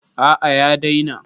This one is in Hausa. A'a ya daina.